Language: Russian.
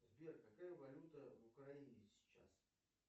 сбер какая валюта в украине сейчас